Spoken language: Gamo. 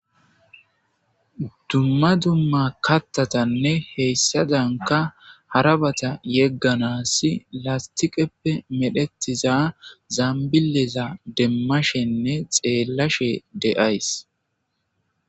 Dumma dumma kattatanne heyssadanka harabata yegganas lastiqeppe medhetiza zaambileza demmashenne xeellashe de7ays